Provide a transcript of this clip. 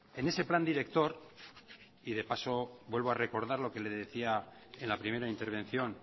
en ese plan director y de paso vuelvo a recordar lo que le decía en la primera intervención